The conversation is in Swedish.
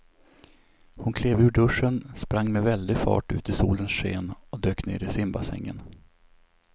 Hon klev ur duschen, sprang med väldig fart ut i solens sken och dök ner i simbassängen.